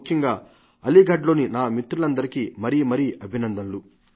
ముఖ్యంగా అలీఘర్ లోని నామిత్రులందరికీ మరీమరీ అభినందనలు